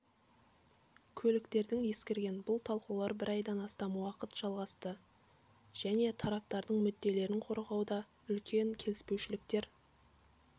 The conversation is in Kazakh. көліктердің ескірген бұл талқылаулар бір айдан астам уақыт жалғасты және тараптардың мүдделерін қорғауда үлкен келіспеушіліктер